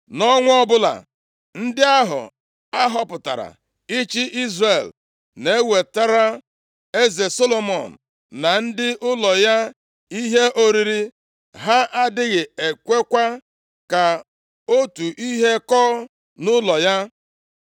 Nʼọnwa ọbụla, ndị ahụ a họpụtara ịchị Izrel na-ewetara eze Solomọn na ndị ụlọ ya ihe oriri. Ha adịghị ekwekwa ka otu ihe kọọ nʼụlọ ya.